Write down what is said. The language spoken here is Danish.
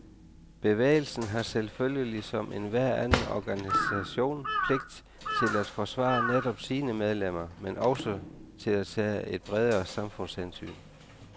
Bevægelsen har selvfølgelig som en hver anden organisation pligt til at forsvare netop sine medlemmer, men også til at tage et bredere samfundshensyn.